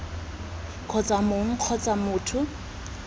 kgotsa ii mong kgotsa motho